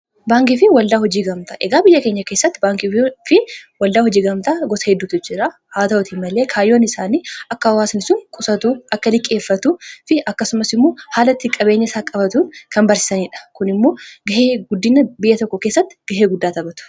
baankii fi waldaa hojii gamtaa egaa biyya keenya keessatti baankii fi waldaa hojii gamtaa gosa heddutu jira haa ta'uti malee kaayyoon isaanii akka hawaasni qusatuu akka liqqeeffatuu fi akkasumas immoo haalatti qabeenya isaa qabatuun kan barsisaniidha kun immoo gahee guddina biyya tokko keessatti gahee guddaa taphata